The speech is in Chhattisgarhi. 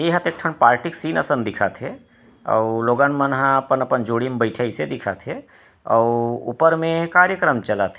इहाँ तो एक ठो पार्टी के सीन असन दिखत हवे अऊ लोगन मन ह अपन-अपन जोड़ी म बईथे हे अइसे दिखत हे अऊ ऊपर मे कार्यक्रम चलत हे।